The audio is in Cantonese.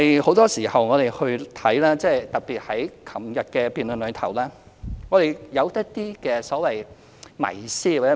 很多時候，特別在昨天的辯論中可見，我們對年紀問題存有一些所謂迷思。